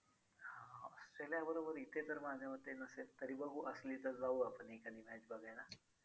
हां Australia बरोबर इथे तर माझ्या मते नसेल तरी बघू असली तर जाऊ आपण एखादी match बघायला.